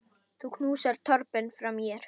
Þú knúsar Torben frá mér.